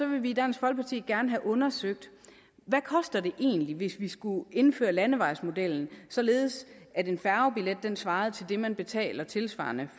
vi i dansk folkeparti gerne have undersøgt hvad det egentlig koster hvis vi skulle indføre landevejsmodellen således at en færgebillet svarede til det man betaler tilsvarende